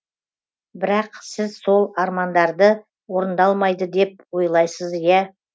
бірақ сіз сол армандарды орындалмайды деп ойлайсыз иә